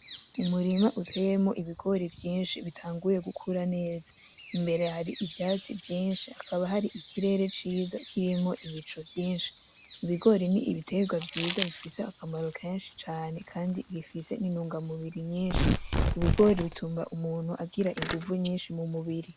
Umurima uteyemwo ibigori vyinshi bitanguye gukura neza, imbere hari ivyatsi vyinshi; hakaba hari ikirere ciza kirimwo ibicu vyinshi. Ibigori n'ibitegwa vyiza bifise akamaro kenshi cane kandi bifise n'intunga mubiri nyinshi. Ibigori bitunga umuntu agira inguvu nyinshi mu mubiri.